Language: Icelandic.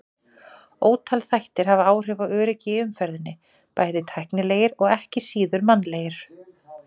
Ótal þættir hafa áhrif á öryggi í umferðinni, bæði tæknilegir og ekki síður mannlegir.